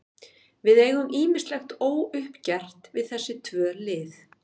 Við eigum ýmislegt óuppgert við þessi tvö lið.